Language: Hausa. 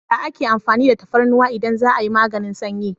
Ya ake amfani da tafarnuwa idan za'a yi maganin sanyi?